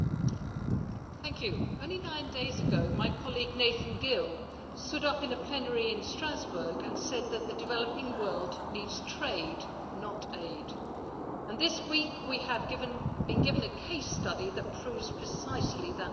Mr President, only nine days ago my colleague, Nathan Gill, stood up in plenary in Strasbourg and said that the developing world needs trade not aid, and this week we have been given a case study that proves precisely that point.